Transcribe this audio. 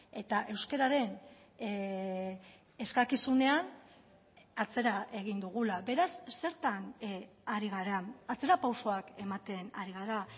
eta euskararen eskakizunean atzera egin dugula beraz zertan ari gara atzerapausoak ematen ari gara